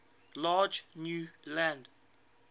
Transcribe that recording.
large new land